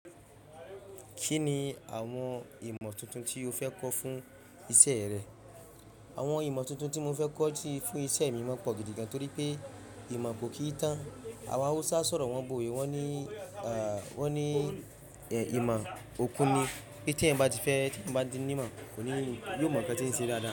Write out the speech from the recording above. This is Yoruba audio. Kí ni àwọn ìmọ̀ tuntun tí o fẹ́ kọ́ fún iṣẹ́ rẹ? Àwọn ìmọ̀ tuntun tí mo fẹ́ kọ́ fún iṣẹ́ mi wón pọ̀ gìdì gàn, torí pé ìmọ̀ kò kí n tán. Àwọn Hausa sọ̀rọ̀ wọn bóyé, wọ́n ní, ẹ́, wọ́n ní ẹ̀, ìmọ̀ òkú ni. Pé tí ẹ́yàn bá ti fẹ́, tí ẹ́yàn bá ti ní ìmọ̀ kò ní kò ní, mọ̀ nǹkan tí ń ṣe dáadáa.